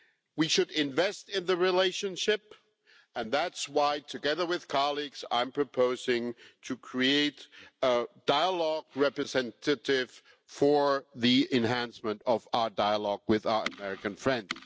We should invest in the relationship, and that is why, together with colleagues, I am proposing to create a dialogue representative for the enhancement of our dialogue with our American friends.